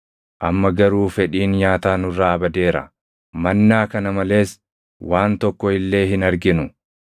Amma garuu fedhiin nyaataa nurraa badeera; mannaa kana malees waan tokko illee hin arginu!”